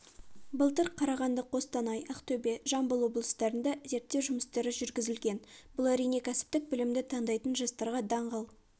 былтыр қарағанды қостанай ақтөбе жамбыл облыстарында зерттеу жұмыстары жүргізілген бұл әрине кәсіптік білімді таңдайтын жастарға даңғыл